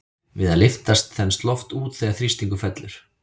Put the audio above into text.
Við að lyftast þenst loft út þegar þrýstingur fellur.